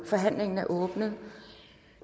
forhandlingen er åbnet